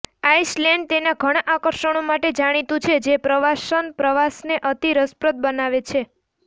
Iceland તેના ઘણા આકર્ષણો માટે જાણીતું છે જે પ્રવાસન પ્રવાસને અતિ રસપ્રદ બનાવે છે